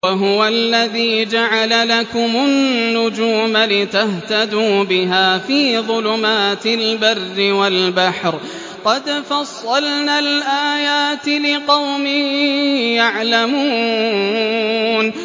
وَهُوَ الَّذِي جَعَلَ لَكُمُ النُّجُومَ لِتَهْتَدُوا بِهَا فِي ظُلُمَاتِ الْبَرِّ وَالْبَحْرِ ۗ قَدْ فَصَّلْنَا الْآيَاتِ لِقَوْمٍ يَعْلَمُونَ